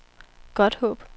Godthåb